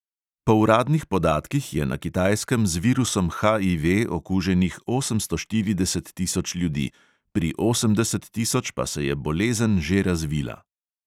Po uradnih podatkih je na kitajskem z virusom HIV okuženih osemsto štirideset tisoč ljudi, pri osemdeset tisoč pa se je bolezen že razvila.